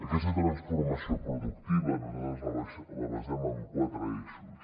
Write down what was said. aquesta transformació productiva nosaltres la basem en quatre eixos